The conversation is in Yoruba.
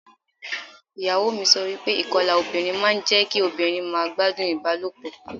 Ìyàwó mi sọ wípé ìkọlà obìnrin máa ń jẹ́ kí obìnrin má gbádùn ìbálòpọ̀.